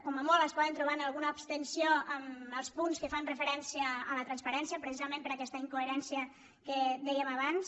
com a molt es poden trobar amb alguna abstenció en els punts que fan referència a la transparència precisament per aquesta incoherència que dèiem abans